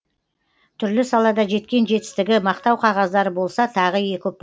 түрлі салада жеткен жетістігі мақтау қағаздары болса тағы екі ұпа